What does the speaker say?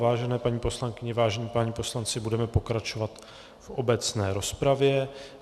Vážené paní poslankyně, vážení páni poslanci, budeme pokračovat v obecné rozpravě.